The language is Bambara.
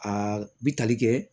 Aa bi tali kɛ